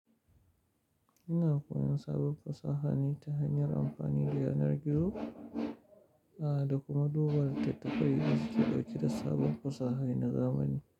Ina koyon sabon fasaha ne ta hanyar amfani da yanar gizo, a, da kuma duba littattafai da suke ɗauke da saban fasaha na zamani.